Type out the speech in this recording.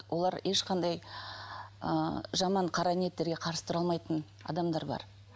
олар ешқандай ы жаман қара ниеттерге қарсы тұра алмайтын адамдар бар